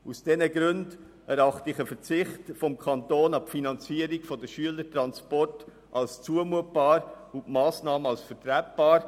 Aus diesen Gründen erachte ich einen Verzicht des Kantons auf die Finanzierung der Schülertransporte als zumutbar und die Massnahme als vertretbar.